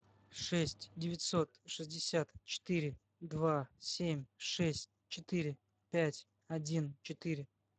шесть девятьсот шестьдесят четыре два семь шесть четыре пять один четыре